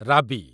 ରାବି